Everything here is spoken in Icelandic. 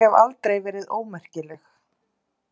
Ég hef aldrei verið ómerkileg.